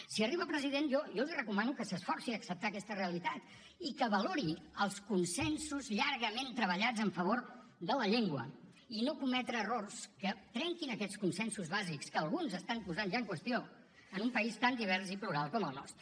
si arriba a president jo jo li recomano que s’esforci a acceptar aquesta realitat i que valori els consensos llargament treballats en favor de la llengua i no cometre errors que trenquin aquests consensos bàsics que alguns estan posant ja en qüestió en un país tan divers i plural com el nostre